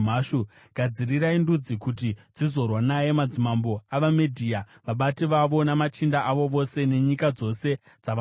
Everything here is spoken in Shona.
Gadzirirai ndudzi kuti dzizorwa naye, madzimambo avaMedhia, vabati vavo namachinda avo ose, nenyika dzose dzavanotonga.